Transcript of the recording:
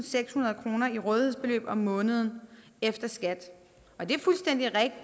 sekshundrede kroner i rådighedsbeløb om måneden efter skat